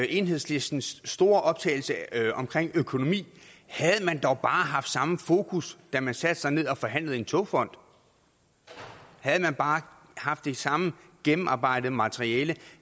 enhedslistens store optagethed af økonomien havde man dog bare haft samme fokus da man satte sig ned og forhandlede om en togfond havde man bare haft det samme gennemarbejdede materiale og